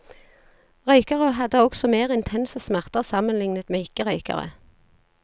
Røykere hadde også mer intense smerter sammenlignet med ikke røykere.